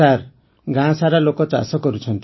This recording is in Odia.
ସାର୍ ଗାଁ ସାରା ଲୋକ ଚାଷ କରୁଛନ୍ତି